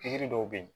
Pikiri dɔw bɛ yen